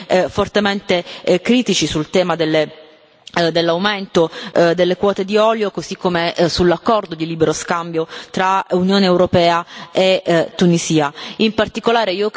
Ecco perché siamo stati anche fortemente critici sul tema dell'aumento delle quote di olio, così come sull'accordo di libero scambio tra Unione europea e Tunisia.